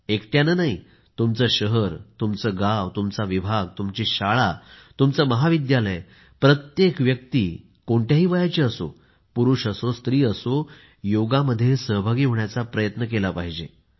एकट्याने नाही तुमचे शहर तुमचे गाव तुमचा विभाग तुमची शाळा तुमचे महाविद्यालय प्रत्येक व्यक्ती कोणत्याही वयाची पुरुष असो स्त्री असो योग मध्ये सहभागी होण्याचा प्रयत्न केला पाहिजे